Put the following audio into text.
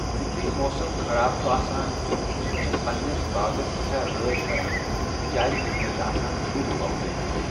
یُتھُے موسم خراب چھُ آسان بہٕ چھٮ۪س پَنٛنِس باغَس سٮ۪ٹھاہ رٲچھ کَران کیازِکہ مےٚ چھِ آسان کُلۍ ووٚپدٲومٕتۍ۔